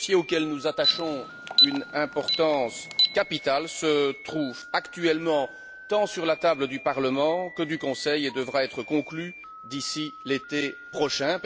Ce dossier, auquel nous attachons une importance capitale, se trouve actuellement tant sur la table du Parlement que du Conseil et devra être conclu d'ici l'été prochain.